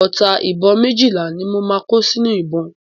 Ọta ìbọn méjìlá ni mo máa kó sínú ìbọn.